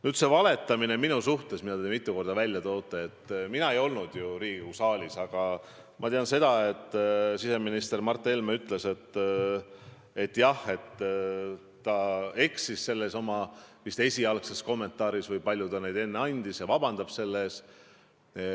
Mis puutub minu kohta valetamisse, mida te mitu korda välja olete toonud, siis mina ei olnud ju Riigikogu saalis, aga ma tean, et siseminister Mart Helme ütles, et jah, ta eksis oma esialgses kommentaaris või palju ta neid enne andiski, ja palub selle eest vabandust.